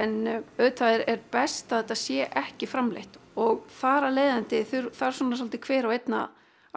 en auðvitað er best að þetta sé ekki framleitt og þar af leiðandi þarf svona hver og einn